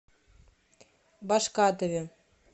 башкатове